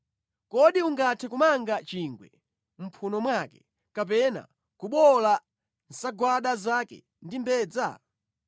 Kodi ungathe kumanga chingwe mʼmphuno mwake, kapena kubowola nsagwada zake ndi mbedza?